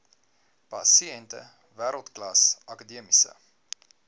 pasiënte wêreldklas akademiese